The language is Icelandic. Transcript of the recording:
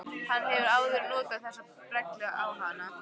Hann hefur áður notað þessa brellu á hana.